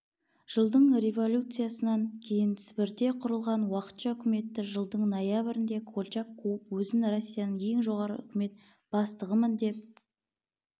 жылдың революциясынан кейін сібірде құрылған уақытша үкіметті жылдың ноябрінде колчак қуып өзін россияның ең жоғарғы үкімет бастығымын деп